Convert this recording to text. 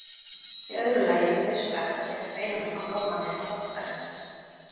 Í öðru lagi er nauðsynlegt að gera greinarmun á lögmanni og lögfræðingi.